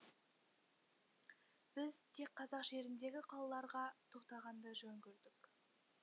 біз тек қазақ жеріндегі қалаларға тоқтағанды жөн көрдік